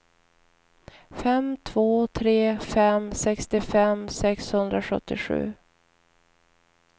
fem två tre fem sextiofem sexhundrasjuttiosju